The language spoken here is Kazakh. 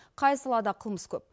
қай салада қылмыс көп